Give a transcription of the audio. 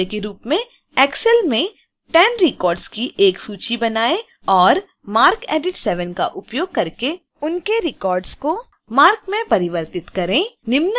नियतकार्य के रूप में